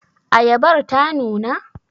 Ayabar ta nuna?